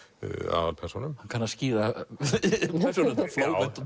aðalpersónum hann kann að skíra persónurnar Flóvent